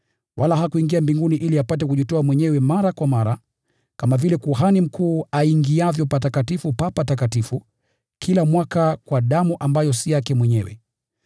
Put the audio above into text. Wala hakuingia mbinguni ili apate kujitoa mwenyewe mara kwa mara, kama vile kuhani mkuu aingiavyo Patakatifu pa Patakatifu kila mwaka kwa damu ambayo si yake mwenyewe.